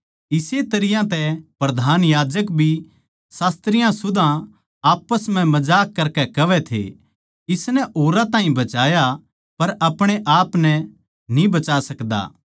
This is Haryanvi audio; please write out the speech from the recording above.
इस्से तरियां तै प्रधान याजक भी शास्त्रियाँ सुदा आप्पस म्ह मजाक करकै कहवै थे इसनै औरां ताहीं बचाया पर आपणे आपनै न्ही बचा सकदा